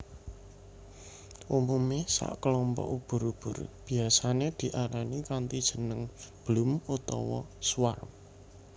Umume sakelompok ubur ubur biyasané diarani kanthi jeneng bloom utawa swarm